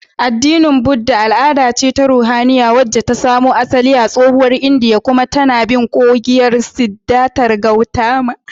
Addinin Buddha al'ada ce ta ruhaniya wacce ta samo asali a tsohuwar Indiya kuma tAna bin koyarwar Siddhartha Gautama